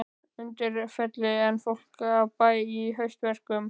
Undirfelli en fólk af bæ í haustverkum.